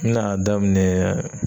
N be na daminɛ